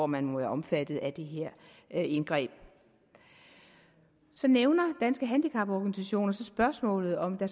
man må være omfattet af det her indgreb så nævner danske handicaporganisationer spørgsmålet om der